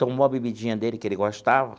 Tomou a bebidinha dele, que ele gostava.